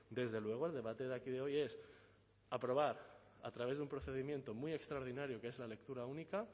desde luego el debate de aquí de hoy es aprobar a través de un procedimiento muy extraordinario que es la lectura única